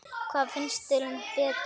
Hvað finnst þér um Berta?